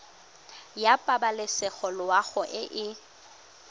ya pabalesego loago e e